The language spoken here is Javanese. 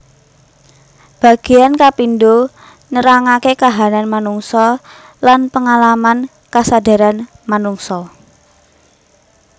Bagéan kapindho nrangaké kahanan manungsa lan pangalaman kasadaran manungsa